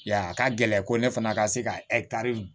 Ya a ka gɛlɛn ko ne fana ka se ka